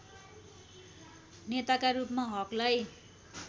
नेताका रूपमा हकलाई